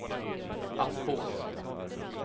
Aspås